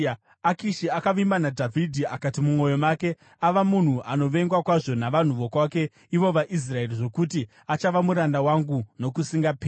Akishi akavimba naDhavhidhi akati mumwoyo make, “Ava munhu anovengwa kwazvo navanhu vokwake, ivo vaIsraeri, zvokuti achava muranda wangu nokusingaperi.”